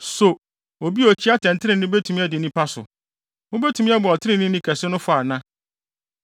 So obi a okyi atɛntrenee betumi adi nnipa so? Mubetumi abu Ɔtreneeni kɛse no fɔ ana?